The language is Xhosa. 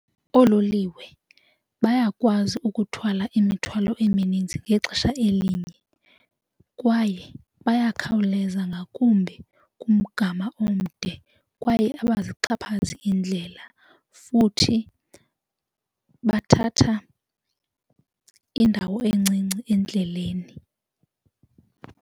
Oololiwe bayakwazi ukuthwala imithwalo eminintsi ngexesha elinye kwaye bayakhawuleza ngakumbi kumgama omde kwaye abazixhaphazi iindlela futhi bathatha indawo encinci endleleni.